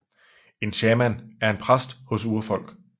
En shaman er en præst hos urfolk